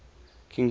king george